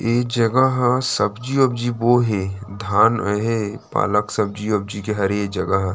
ये जगह ह सब्जी वब्जी बोये हे धान है पालक सब्जी वब्जी के हरे जगह ह--